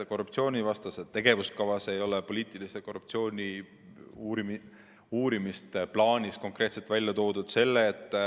Korruptsioonivastases tegevuskavas ei ole poliitilise korruptsiooni uurimist konkreetselt välja toodud.